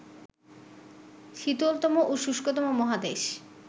শীতলতম ও শুষ্কতম মহাদেশ